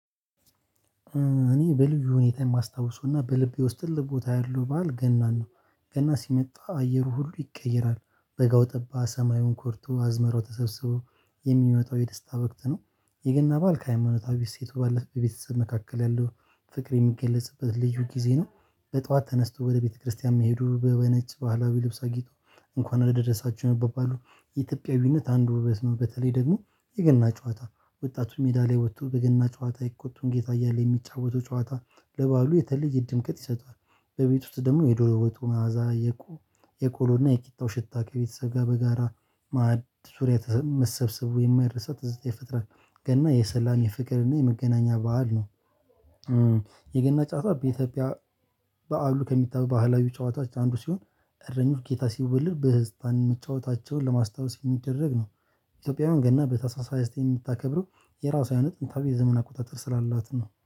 እኔ በልዩ ሁኔታ የማስታውሰውና በልቤ ውስጥ ልብ ቦታ ያለው ባል ገና ነው ገና ሲመጣ አየሩ ሁሉ ይቀየራል በጋው ጠባ ሰማዩን ኮርቶ አዝመራው ተሰብስበው የሚመጣው የደስታ በቅት ነው የገና ባል ከሃይማኖታዊ ሴት ባለፈ በቤተሰብ መካከል ያለው ፍቅር የሚገለጽበት ልዩ ጊዜ ነው። በጧት ተነስቶ ወደ ቤተክርስቲያም መሄዱ በበነጭ ባህላዊ ልብስ አጊጦ እንኳን ለደረሳችሁ የሚባባሉ የኢትዮጵያዊነት አንድ ውበት ነው። በተለይ ደግሞ የገና ጨዋታ ወጣቱ ሜዳ ላይ ወጥቶ በገና ጨዋታ የቆጡን ጌታ እያለ የሚጫወተው ጨዋታ ለባሉ የተለየ ድምቀት ይሰጣል። በቤት ውስጥ ደግሞ የዶሎሮቱ መዓዛ የቆሎና የቂጣው ሽታ ከቤተሰብ ጋር በጋራ ማዕድ ዙሪያ መሰብሰቡ የማይረሳ ትዝታ የፍጥረት ገና የሰላም የፍቅር እና የመገናኛ በዓል ነው። የገና ጫጫ በኢትዮጵያ በዓሉ ከሚታበብ ባህላዊ ጨዋታዎች አንዱ ሲሆን እረኞች ጌታ ሲወልድ በህፃንን መቻወታቸውን ለማስታወስ የሚደረግ ነው። ኢትዮጵያውያን ገና በተሳሳተ የምታከብረው የራሷን ጥንታዊ የዘመናዊ አቆጣጠር ስላላት ነው